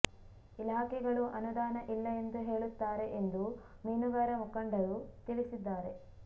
ಇಲಾಖೆಗಳು ಅನುದಾನ ಇಲ್ಲ ಎಂದು ಹೇಳುತ್ತಾರೆ ಎಂದು ಮೀನುಗಾರ ಮುಖಂಡರು ತಿಳಿಸಿದ್ದಾರೆ